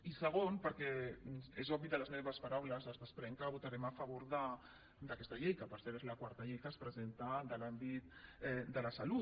i segon perquè és obvi que de les meves paraules es desprèn que votarem a favor d’aquesta llei que per cert és la quarta llei que es presenta de l’àmbit de la salut